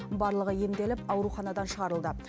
барлығы емделіп ауруханадан шығарылды